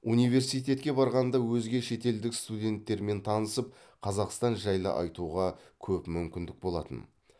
университетке барғанда өзге шетелдік студенттермен танысып қазақстан жайлы айтуға көп мүмкіндік болатын